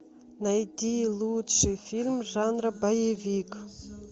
найти лучший фильм жанра боевик